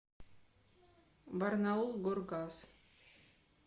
барнаулгоргаз